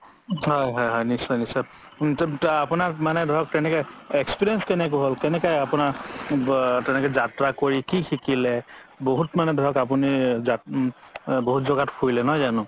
হয় হয় নিশ্চয় নিশ্চয় আপুনাক মানে ধৰক তেনেকে experience কেনেকে, কেনেকে আপুনাৰ যাত্ৰা কৰি কি শিকিলে বহুত মানে ধৰক আপুনি বহুত যাগাত ফুৰিলে নহয় জানো